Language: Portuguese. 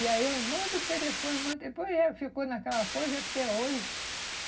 E aí eu mando o telefone, manda o, depois eh ficou naquela coisa até hoje.